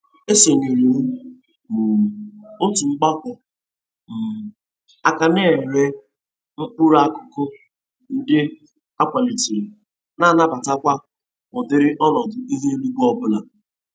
Esonyere m um otu mgbakọ um aka na-ere mkpụrụ akụkụ ndị a kwalitere na-anabatakwa ụdịrị ọnọdụ ihu eluigwe ọbụla.